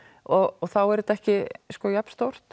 og þá er þetta ekki jafn stórt